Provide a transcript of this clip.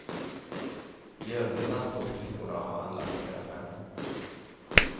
I övrigt ansågs flickorna ha handlat i nödvärn.